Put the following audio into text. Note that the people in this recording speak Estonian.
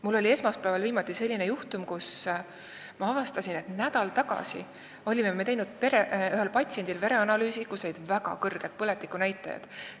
Mul oli viimati esmaspäeval selline juhtum: avastasin, et juba nädal tagasi olime teinud ühele patsiendile vereanalüüsi, millest selgusid väga kõrged põletikunäitajad.